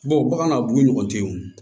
bagan a b'u ɲɔgɔn ten o